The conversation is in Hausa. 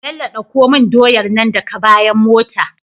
Bello ɗauko mun doyar nan daka bayan mota